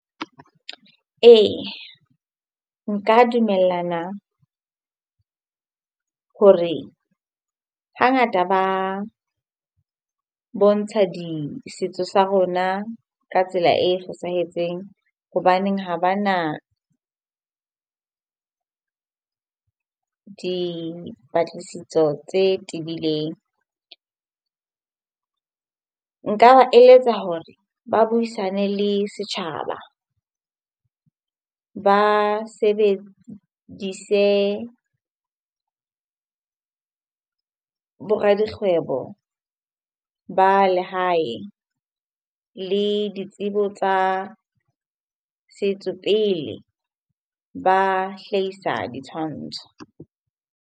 Ee, nka dumellana hore hangata ba bontsha di setso sa rona ka tsela e fosahetseng hobaneng ha ba na dipatlisiso tse tebileng. Nka ba eletsa hore ba buisane le setjhaba, ba sebedise bo radikgwebo ba lehae le ditsebo tsa setso pele ba hlahisa ditshwantsho.